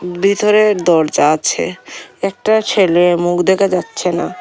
ভিতরে দরজা আছে একটা ছেলে মুখ দেখা যাচ্ছে না।